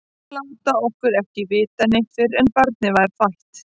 Að láta okkur ekki vita neitt fyrr en barnið var fætt!